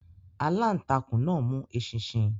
Alantakun náà mu eṣinṣin